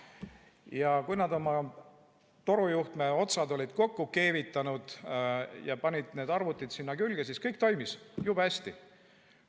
Ja kui nad oma torujuhtme otsad olid kokku keevitanud ja panid need arvutid sinna külge, siis kõik toimis jube hästi.